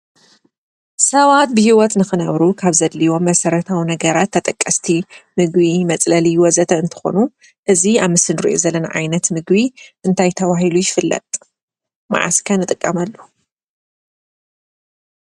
ሰባት ብሂወት ንኽነብሩ ካብ ዘድልይዎም መሰረታዊ ነገራት ተጠቀስቲ ምግቢ፣ መፅለሊ ወዘተ እንትኾኑ እዚ ኣብ ምስሊ እንሪኦ ዘለና ዓይነት ምግቢ እንታይ ተባሂሉ ይፍለጥ? መዓስ ከ ንጥቀመሉ?